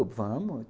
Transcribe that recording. Eu, vamos.